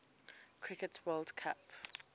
cricket world cup